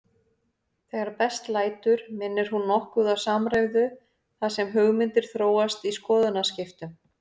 Þegar best lætur minnir hún nokkuð á samræðu þar sem hugmyndir þróast í skoðanaskiptum.